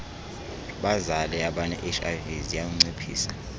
bazale abanehiv ziyawunciphisa